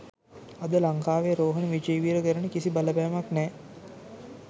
අද ලංකාවේ රෝහණ විජේවීර කරන කිසි බලපෑමක් නැහැ